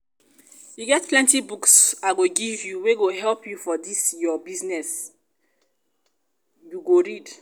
e get plenty books i go give you wey go help you for dis your business you go read?